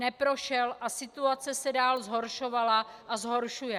Neprošel a situace se dál zhoršovala a zhoršuje.